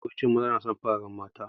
Mafi yawancin maza na son fararen mata.